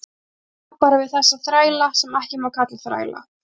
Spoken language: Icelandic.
Ég á bara við þessa þræla sem ekki má kalla þræla.